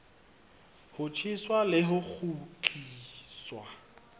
ho tjheswa le ho kgutliswa